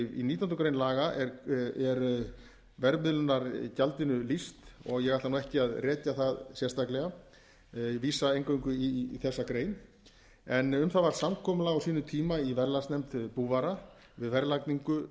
nítjánda grein laga er verðmiðlunargjaldinu lýst og eg ætla ekki að rekja það sérstaklega ég vísa eingöngu í þessa grein um það varð samkomulag á sínum tíma í verðlagsnefnd búvara við verðlagningu